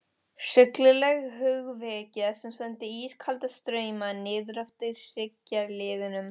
Hryllileg hugvekja sem sendi ískalda strauma niðreftir hryggjarliðunum.